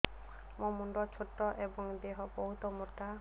ମୋ ମୁଣ୍ଡ ଛୋଟ ଏଵଂ ଦେହ ବହୁତ ମୋଟା